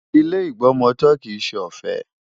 Ilé ìgbọmọtọ́ kìí ṣe ọ̀fẹ́.